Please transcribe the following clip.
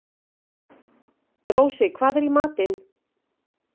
Rósi, hvað er í matinn?